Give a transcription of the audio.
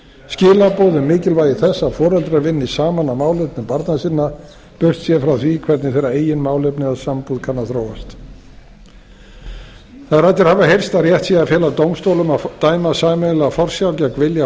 skilaboð um mikilvægi þess að foreldrar vinni saman að málefnum barna sinna burtséð frá því hvernig þeirra eigin málefni eða sambúð kann að þróast þær raddir hafa heyrst að rétt sé að fela dómstólum að dæma sameiginlega forsjá gegn vilja